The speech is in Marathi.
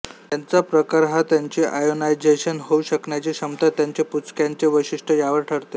त्याचा प्रकार हा त्यांची आयोनायझेशन होऊ शकण्याची क्षमता त्यांचे पुंजक्यांचे वैशिष्ट्ये यावर ठरते